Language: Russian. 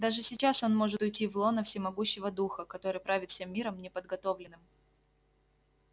даже сейчас он может уйти в лоно всемогущего духа который правит всем миром неподготовленным